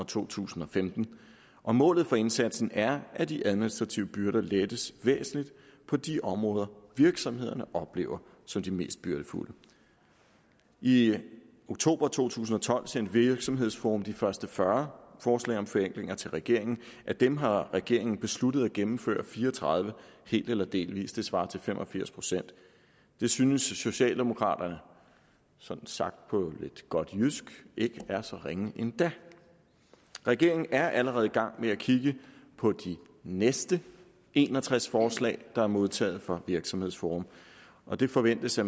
to tusind og femten og målet for indsatsen er at de administrative byrder lettes væsentligt på de områder virksomhederne oplever som de mest byrdefulde i oktober to tusind og tolv sendte virksomhedsforum de første fyrre forslag om forenklinger til regeringen af dem har regeringen besluttet at gennemføre fire og tredive helt eller delvis det svarer til fem og firs procent det synes socialdemokraterne sådan sagt på godt jysk ikke er så ringe endda regeringen er allerede i gang med at kigge på de næste en og tres forslag der er modtaget fra virksomhedsforum og det forventes at